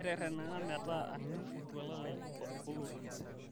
keteretenaka metaa anu oltuala lai olotu